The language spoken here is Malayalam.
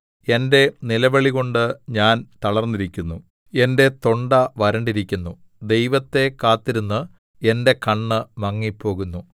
എന്റെ നിലവിളികൊണ്ട് ഞാൻ തളർന്നിരിക്കുന്നു എന്റെ തൊണ്ട വരണ്ടിരിക്കുന്നു ദൈവത്തെ കാത്തിരുന്ന് എന്റെ കണ്ണ് മങ്ങിപ്പോകുന്നു